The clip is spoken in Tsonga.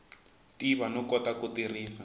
tiva no kota ku tirhisa